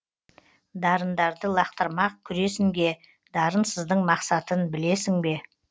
дарындарды лақтырмақ күресінге дарынсыздың мақсатын білесің бе